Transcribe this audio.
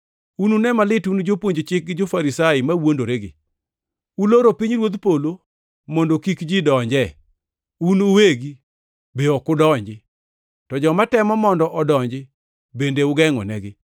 “Unune malit un jopuonj chik gi jo-Farisai mawuondoregi! Uloro pinyruodh polo mondo kik ji odonje. Un uwegi ok udonji, to joma temo mondo odonji bende ugengʼonegi. [